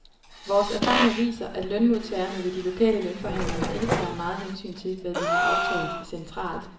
Vores erfaringer viser, at lønmodtagerne ved de lokale lønforhandlinger ikke tager meget hensyn til, hvad vi har aftalt centralt.